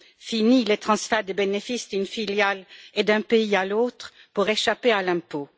Finis les transferts de bénéfices d'une filiale et d'un pays à l'autre pour échapper à l'impôt!